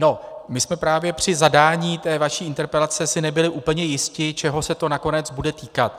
No, my jsme právě při zadání té vaší interpelace si nebyli úplně jisti, čeho se to nakonec bude týkat.